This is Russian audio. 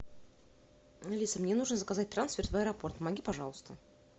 алиса мне нужно заказать трансфер в аэропорт помоги пожалуйста